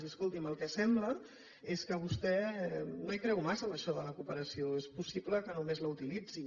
i escolti’m el que sembla és que vostè no hi creu massa en això de la cooperació és possible que només la utilitzi